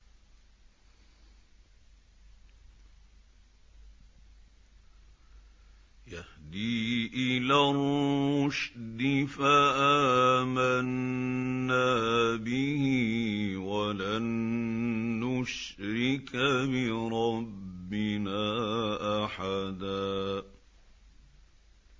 يَهْدِي إِلَى الرُّشْدِ فَآمَنَّا بِهِ ۖ وَلَن نُّشْرِكَ بِرَبِّنَا أَحَدًا